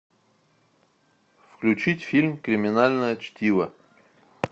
включить фильм криминальное чтиво